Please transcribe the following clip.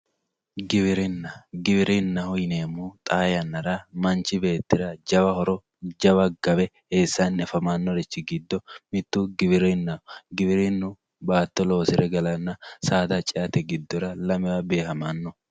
giwirinna giwirinnaho yineemmohu manchi beetti xaa yannara manchi beettira jawa horo jawa gawe eessanni afamannorichi giddo mittu giwirinnaho giwirinnu baatto loosire galanna saada ceate giddora lamewa beehamanno.